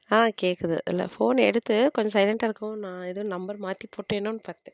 ஹம் கேக்குது இல்ல phone எடுத்து கொஞ்சம் silent இருக்கவும் நான் ஏதோ number மாத்தி போட்டேனோ பாத்தேன்.